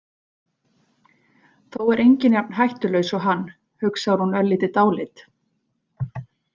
Þó er enginn jafn hættulaus og hann, hugsar hún örlítið dáleidd.